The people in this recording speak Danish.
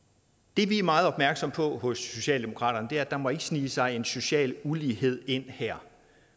det vi er meget opmærksomme på hos socialdemokraterne er at der ikke må snige sig en social ulighed ind her